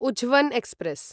उझवन् express